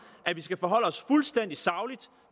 at vi skal forholde os fuldstændig sagligt